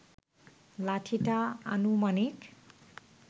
লাঠিটা আনুমানিক